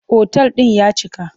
Otal ɗin ya cika.